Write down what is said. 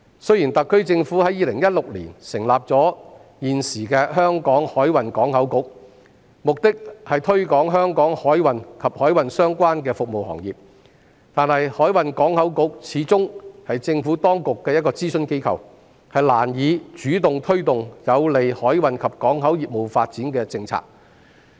雖然特區政府在2016年成立香港海運港口局，目的是推廣香港海運及海運相關的服務行業，但香港海運港口局始終是政府當局的諮詢機構，難以主動推動有利海運及港口業務發展的政策。